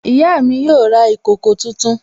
Ìyá mi yóò ra ìkòkò tuntun